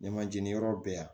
Ɲɛma jeni yɔrɔ bɛɛ yan